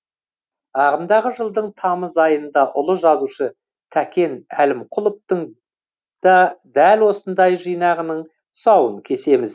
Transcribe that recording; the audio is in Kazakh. ағымдағы жылдың тамыз айында ұлы жазушы тәкен әлімқұловтың да дәл осындай жинағының тұсауын кесеміз